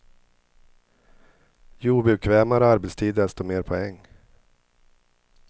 Ju obekvämare arbetstid desto mer poäng.